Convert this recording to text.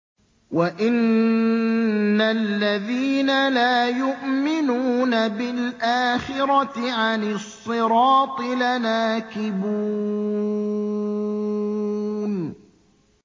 وَإِنَّ الَّذِينَ لَا يُؤْمِنُونَ بِالْآخِرَةِ عَنِ الصِّرَاطِ لَنَاكِبُونَ